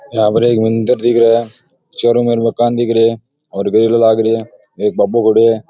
या पर एक मंदिर दिख रहा है चारो ओर मकान दिख रहे है और ग्रिल लाग री है एक बाबू खड़यो है।